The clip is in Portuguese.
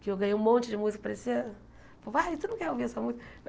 que eu ganhei um monte de música, parecia... Pô, vai, tu não quer ouvir essa música?